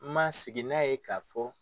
N ma sigi n'a ye ka fɔ